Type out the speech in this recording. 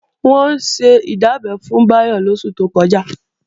Wọ́n ṣe ìdábẹ́ fún Báyọ̀ lóṣù tó kọjá